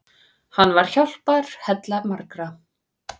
Hann var hjálparhella margra.